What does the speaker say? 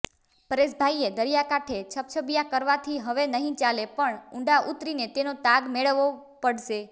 પરેશભાઇએ દરિયાકાંઠે છબછબીયા કરવાથી હવે નહિ ચાલે પણ ઉંડા ઉતરીને તેનો તાગ મેળવવો પડશે